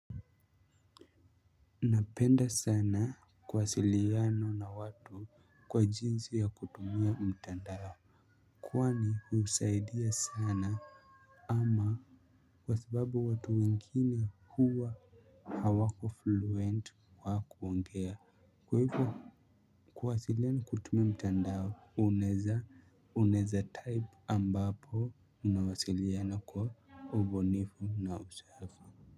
Napenda sana kuwasiliana na watu kwa jinsi ya kutumia mtandao. Kwani husaidia sana ama kwa sababu watu wengine huwa hawako fluent wa kuongea kwa hivyo kuwasiliana kutumia mtandao unaweza type ambapo unawasiliana kwa ubunifu na usafu.